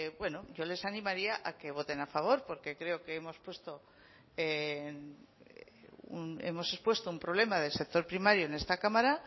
bueno yo les animaría a que voten a favor porque creo que hemos puesto hemos expuesto un problema del sector primario en esta cámara